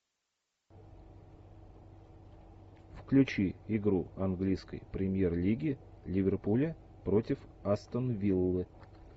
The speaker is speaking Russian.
включи игру английской премьер лиги ливерпуля против астон виллы